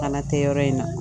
Kana tɛ yɔrɔ in na